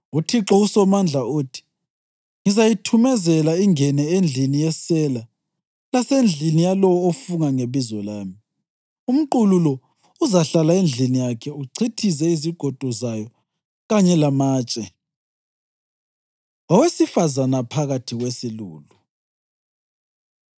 UThixo uSomandla uthi, ‘Ngizayithumezela ingene endlini yesela lasendlini yalowo ofunga ngebizo lami. Umqulu lo uzahlala endlini yakhe, uchithize izigodo zayo kanye lamatshe.’ ” Owesifazane Phakathi Kwesilulu